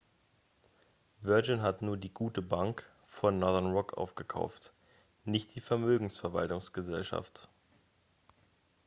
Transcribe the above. virgin hat nur die gute bank von northern rock aufgekauft nicht die vermögensverwaltungsgesellschaft